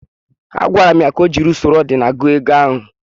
Agwara m ya ka o jiri usoro odinal gụọ ego ahụ.